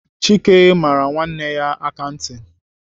Chike mara nwanne ya aka ntị.